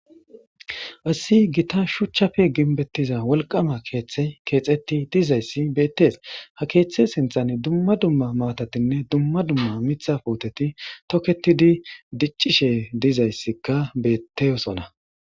Assi gita shuchchafe ginbettiza wolqama keeththe keexetti dizayssi beettees ha keeththe sinthan dumma dumma maatatinne dumma dumma mitha puuteti toketidi diccishe dizayssikka beetteyosona.